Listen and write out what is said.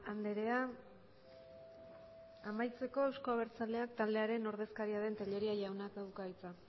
andrea amaitzeko euzko abertzaleak taldearen ordezkaria den tellería jaunak dauka hitza